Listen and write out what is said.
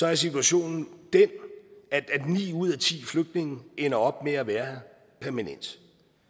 er situationen den at ni ud af ti flygtninge ender op med at være her permanent